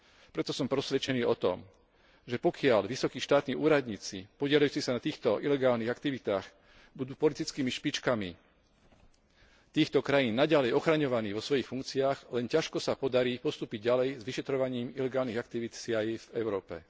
Preto som presvedčený o tom, že pokiaľ vysokí štátni úradníci podieľajúci sa na týchto ilegálnych aktivitách budú politickými špičkami týchto krajín naďalej ochraňovaní vo svojich funkciách, len ťažko sa podarí postúpiť ďalej s vyšetrovaním ilegálnych aktivít CIA v Európe.